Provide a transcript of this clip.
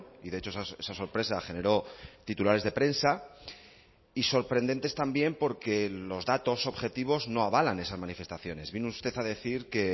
y de hecho esa sorpresa generó titulares de prensa y sorprendentes también porque los datos objetivos no avalan esas manifestaciones viene usted a decir que